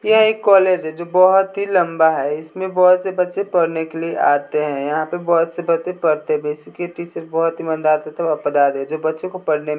यह एक कॉलेज है जो बहोत ही लंबा है इसमें बहोत से बच्चे पढ़ने के लिए आते है यहां पे बहोत से बच्चे पढ़ते भी है इसके टीचर बहोत ईमानदार तथा वफादार है जो बच्चों को पढ़ने में--